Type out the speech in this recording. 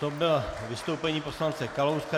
To bylo vystoupení poslance Kalouska.